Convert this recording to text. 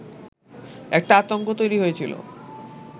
একটা আতঙ্ক তৈরি হয়েছিলো